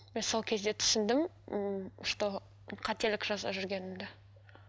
мен сол кезде түсіндім ммм что қателік жасап жүргенімді